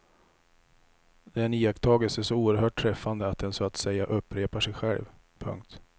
Det är en iakttagelse så oerhört träffande att den så att säga upprepar sig själv. punkt